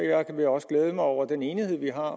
jeg vil også glæde mig over den enighed vi har